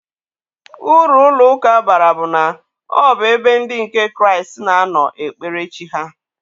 Uru ụlọ ụka bara bụ na, ọ bụ ebe ndị nke Kraịst na-anọ ekpere chi ha.